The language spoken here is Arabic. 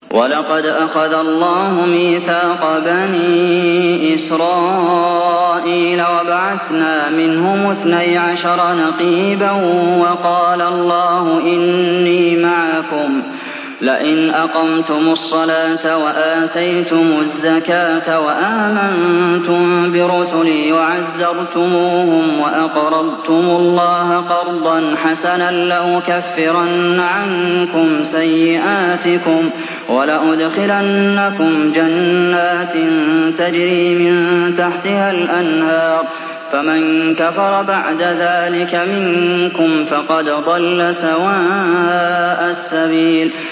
۞ وَلَقَدْ أَخَذَ اللَّهُ مِيثَاقَ بَنِي إِسْرَائِيلَ وَبَعَثْنَا مِنْهُمُ اثْنَيْ عَشَرَ نَقِيبًا ۖ وَقَالَ اللَّهُ إِنِّي مَعَكُمْ ۖ لَئِنْ أَقَمْتُمُ الصَّلَاةَ وَآتَيْتُمُ الزَّكَاةَ وَآمَنتُم بِرُسُلِي وَعَزَّرْتُمُوهُمْ وَأَقْرَضْتُمُ اللَّهَ قَرْضًا حَسَنًا لَّأُكَفِّرَنَّ عَنكُمْ سَيِّئَاتِكُمْ وَلَأُدْخِلَنَّكُمْ جَنَّاتٍ تَجْرِي مِن تَحْتِهَا الْأَنْهَارُ ۚ فَمَن كَفَرَ بَعْدَ ذَٰلِكَ مِنكُمْ فَقَدْ ضَلَّ سَوَاءَ السَّبِيلِ